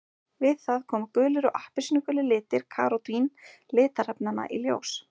Við það koma gulir og appelsínugulir litir karótín litarefnanna í ljós.